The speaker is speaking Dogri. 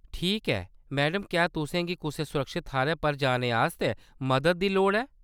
ठीक ऐ, मैडम, क्या तुसें गी कुसै सुरक्खत थाह्‌‌‌रै पर जाने आस्तै मदद दी लोड़ ऐ ?